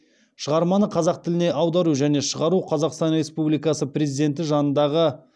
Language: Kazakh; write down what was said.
шығарманы қазақ тіліне аудару және шығару қазақстан республикасы президенті жанындағы